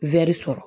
sɔrɔ